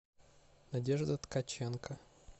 надежда ткаченко